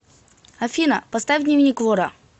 афина поставь дневник вора